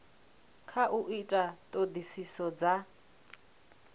kha u ita ṱhoḓisiso dza